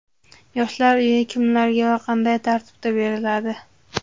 Yoshlar uyi kimlarga va qanday tartibda beriladi?